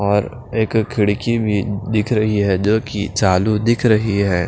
और एक खिड़की भी दिख रही है जो कि चालू दिख रही है।